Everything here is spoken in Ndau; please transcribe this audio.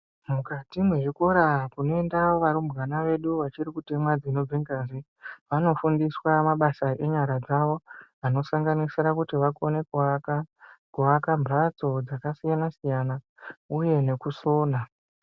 Mukati mwezvikora kunoenda varumbwana vedu vachiri kutemwe dzinobve ngazi, vanofundiswe mabasa enyara dzawo anosanganisire kuti vakone kuaka, kuaka mhatso dzakasiyana siyana uye nekusona.